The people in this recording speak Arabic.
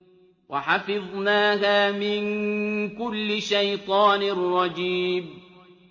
وَحَفِظْنَاهَا مِن كُلِّ شَيْطَانٍ رَّجِيمٍ